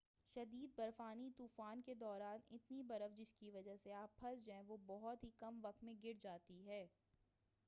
شدید برفانی طوفان کے دوران اتنی برف جس کی وجہ سے آپ پھنس جائیں وہ بہت ہی کم وقت میں گر جاتی ہے